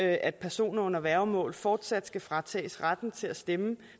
at personer under værgemål fortsat skal fratages retten til at stemme